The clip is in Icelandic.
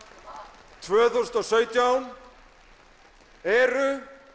tvö þúsund og sautján eru